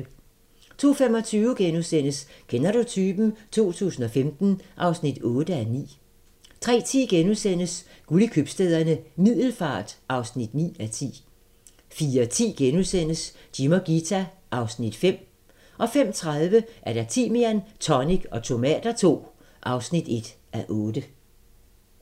02:25: Kender du typen? 2015 (8:9)* 03:10: Guld i Købstæderne - Middelfart (9:10)* 04:10: Jim og Ghita (Afs. 5)* 05:30: Timian, tonic og tomater II (1:8)